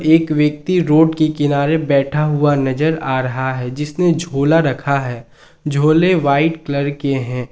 एक व्यक्ति रोड के किनारे बैठा हुआ नजर आ रहा है जिसने झोला रखा है झोले व्हाइट कलर के हैं।